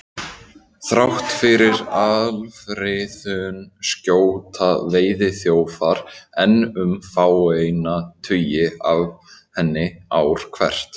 Þrátt fyrir alfriðun skjóta veiðiþjófar enn um fáeina tugi af henni ár hvert.